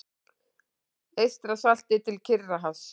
Eystrasalti til Kyrrahafs.